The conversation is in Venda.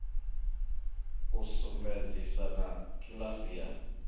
u sumbedzisa na kiḽasi ya